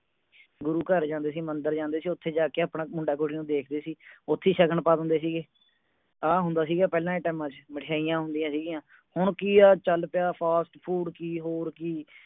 ਗੁਰੂ ਘਰੇ ਜਾਂਦੇ ਸੀ ਮੰਦਰ ਜਾਂਦੇ ਸੀ ਉੱਥੇ ਜਾਕੇ ਆਪਣਾ ਮੁੰਡਾ ਕੁੜੀ ਨੂੰ ਦੇਖਦੇ ਸੀ ਉੱਥੇ ਹੀ ਸ਼ਗਨ ਪਾ ਦਿੰਦੇ ਸੀਗੇ ਆਹ ਹੁੰਦਾ ਸੀ ਦਾ ਪਹਿਲਾਂ ਦੇ time ਚ ਮਠਿਆਈਆਂ ਹੁੰਦੀਆਂ ਸੀ ਗਿਆਂ ਹੁਣ ਕੀ ਆ ਚਲ ਪਿਆ fast food ਕੀ ਹੋਰ ਕੀ